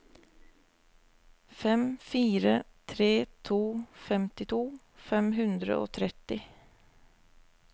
fem fire tre to femtito fem hundre og tretti